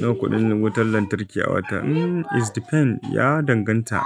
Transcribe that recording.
Nawa kuɗin wutar lantarki a wata? Hmm, it depends, ya danganta